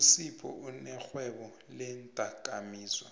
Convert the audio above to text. usiphou unerhwebo leendakamizwa